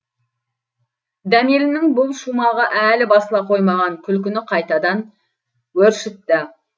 дәмелінің бұл шумағы әлі басыла қоймаған күлкіні қайтадан өршітті